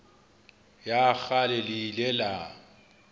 ya kgale le ile la